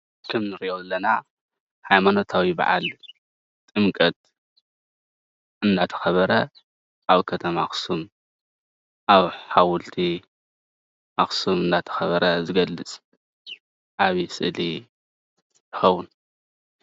ከም እንሪኦ ዘለና ሃይማኖታዊ በዓል ጥምቀት እንዳተከበረ ኣብ ከተማ ኣክሱም ኣብ ሓወልቲ ኣክሱም እንዳተከበረ ዝገልፅ ዓብይ ስእሊ ይከውን፡፡